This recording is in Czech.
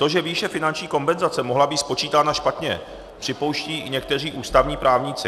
To, že výše finanční kompenzace mohla být spočítána špatně, připouští i někteří ústavní právníci.